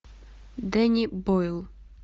дэнни бойл